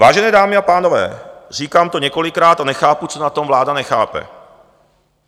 Vážené dámy a pánové, říkám to několikrát a nechápu, co na tom vláda nechápe.